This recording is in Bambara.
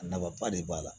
A nafaba de b'a la